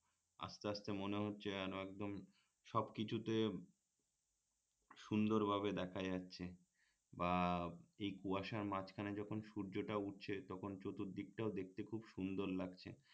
just মনে হচ্ছে যেন একদম সবকিছুতে সুন্দরভাবে দেখা যাচ্ছে বা এই কুয়াশার মাঝখানে যখন সূর্যটা উঠছে তখন চতুর্দিকটা দেখতে সুন্দর লাগছে